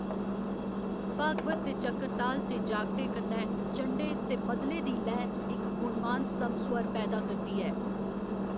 भागवत दे चक्रताल ते जागटे, कन्नै चण्डे ते मद्दले दी लैऽ इक गुणवान समस्वर पैदा करदी ऐ।